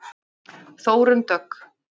Þórunn Dögg.